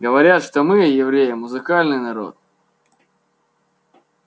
говорят что мы евреи музыкальный народ